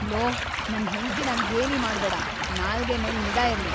Low, ನನ್ ಹೆಂಡ್ತಿನ ಗೇಲಿ ಮಾಡ್ಬೇಡ! ನಾಲ್ಗೆ ಮೇಲ್‌ ನಿಗಾ ಇರ್ಲಿ!